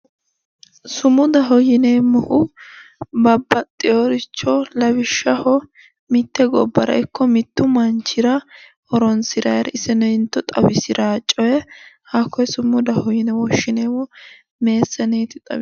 Sumudaho yineemmohu babbaxxeyoricho lawishshaho mitte gobbara ikko mittu manchira horoonsiraari isoneente xawisiraa coye hakkoye sumudaho yine woshshineemmo meessaneeti xawishsha